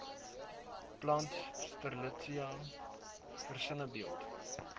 plant strelitzia versinnebeeld